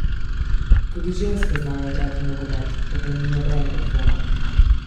Tudi ženske znajo igrati nogomet, o tem ni nobenega dvoma.